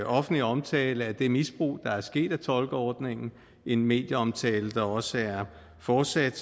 offentlige omtale af det misbrug der er sket af tolkeordningen en medieomtale der også er fortsat